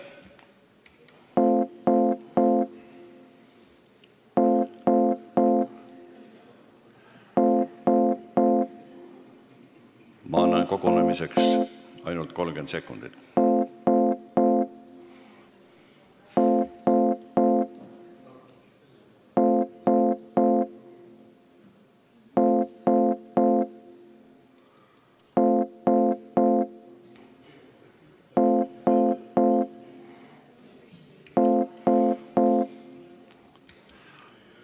Ma annan kogunemiseks ainult 30 sekundit.